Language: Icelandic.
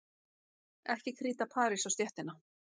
Ekki kríta parís á stéttina.